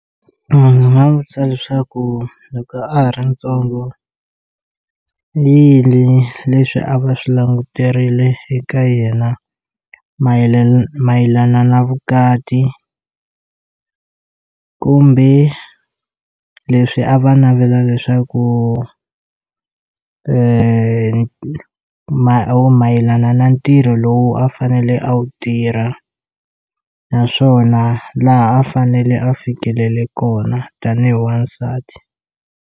Ndzi nga vutisa leswaku loko a ha ri ntsongo i yini leswi a va swi languterile eka yena mayelana mayelana na vukati kumbe leswi a va navela leswaku mayelana na ntirho lowu a fanele a wu tirha naswona laha a fanele a fikelele kona tanihi wansati.